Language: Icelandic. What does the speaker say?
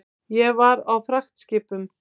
Ég var á fragtskipum.